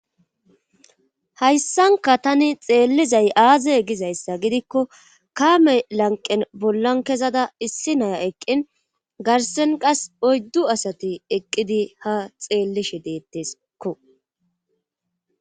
hayssanka tani xeellizay aaze gizayssa gidikko kaame lanqen bollan kezada issi naya eqqin garsen qas oyddu asati eqqidi ha xeellishe deetteskko